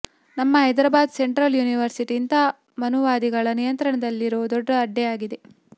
ನಮ್ಮ Hyderabad central university ಇಂತಹ ಮನುವಾದಿಗಳ ನಿಯಂತ್ರಣದಲ್ಲಿರೋ ದೊಡ್ಡ ಅಡ್ಡೆಯಾಗಿದೆ